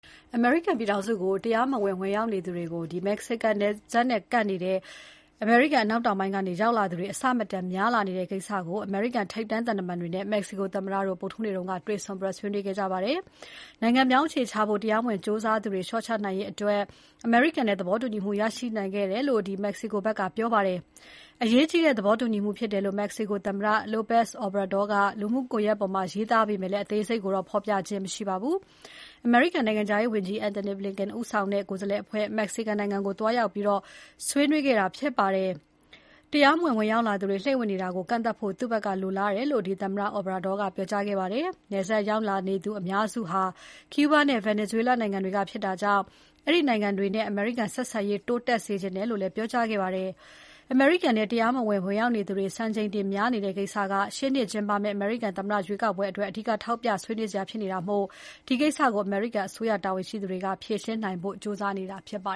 အမေရိကန်ပြည်ထောင်စုကို တရားမဝင် ဝင်ရောက်နိုင်ဖို့ မက္ကဆီကိုနိုင်ငံနဲ့ကပ်နေတဲ့ အမေရိကန် အနောက်တောင်ပိုင်းနယ်စပ်ကို ရောက်လာသူတွေ အဆမတန်များလာနေတဲ့ကိစ္စအပေါ် အမေရိကန်ထိပ်တန်းသံတမန်တွေနဲ့ မက္ကဆီကို သမ္မတတို့ ဗုဒ္ဓဟူးနေ့က ဆွေးနွေးခဲ့ကြပါတယ်။ နိုင်ငံပြောင်းအခြေချဖို့ တရားမဝင် ကြိုးစားသူတွေ လျှော့ချနိုင်ရေးအတွက် အမေရိကန်နဲ့ သဘောတူညီမှုရရှိခဲ့တယ်လို့ မက္ကဆီကိုဘက်က ပြောပါတယ်။ အရေးကြီးတဲ့ သဘောတူမှုဖြစ်တယ်လို့ မက္ကဆီကို သမ္မတ López Obrador ကလူမှုကွန်ရက်ပေါ်မှာရေးသားခဲ့ပေမဲ့ အသေးစိတ်ကိုတော့ ဖော်ပြခြင်းမရှိပါဘူး။ အမေရိကန်နိုင်ငံခြားရေးဝန်ကြီး Antony Blinken ဦီးဆောင်တဲ့ ကိုယ်စားလှယ်အဖွဲ့ မက္ကဆီကို နိုင်ငံကို သွားရောက်ပြီး ဆွေးနွေးခဲ့တာဖြစ်ပါတယ်။ တရားမဝင်ရောက်လာသူတွေ လှိမ့်ဝင်လာနေတာကို ကန့်သတ်ဖို့ သူ့ဘက်က လိုလားတယ်လို့ သမ္မတ Obrador က ပြောကြားခဲ့ပါတယ်။ နယ်စပ်ရောက်လာနေသူအများစုက ကျူးဘား နဲ့ ဗင်နီဇွဲလား နိုင်ငံတွေက ဖြစ်တာကြောင့် အဲဒီနိုင်ငံတွေနဲ့ အမေရိကန်ဆက်ဆံရေးတိုးတက်စေချင်တယ်လို့လည်း ပြောကြားခဲ့ပါတယ်။ အမေရိကန်ထဲ တရားမဝင် ဝင်ရောက်လာသူတွေ စံချိန်တင်များနေတဲ့ ကိစ္စက ရှေ့နှစ်ကျင်းပမဲ့ အမေရိကန်သမ္မတ ရွေးကောက်ပွဲအတွက် အဓိက ထောက်ပြဆွေးနွေးစရာဖြစ်နေတာမို့ ဒီကိစ္စကို အမေရိကန်အစိုးရတာဝန်ရှိသူတွေ ဖြေရှင်းနိုင်ဖို့ ကြိုးစားနေတာဖြစ်ပါ